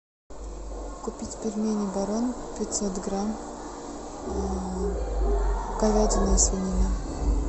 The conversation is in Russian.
купить пельмени барон пятьсот грамм говядина свинина